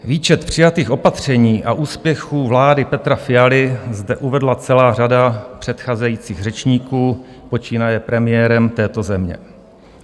Výčet přijatých opatření a úspěchů vlády Petra Fialy zde uvedla celá řada předcházejících řečníků, počínaje premiérem této země.